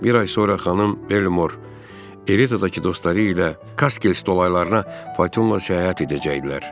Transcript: Bir ay sonra xanım Belmor Eritadakı dostları ilə Kaskel stolaylarına Fatonla səyahət edəcəkdilər.